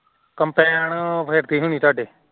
combine ਫੇਰਤੀ ਹੋਣੀ ਤਾਢੇ